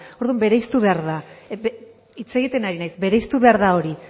orduan bereiztu behar da hitz egiten ari naiz bereiztu behar da hori